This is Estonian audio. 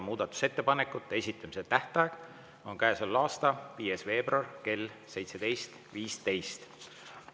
Muudatusettepanekute esitamise tähtaeg on käesoleva aasta 5. veebruar kell 17.15.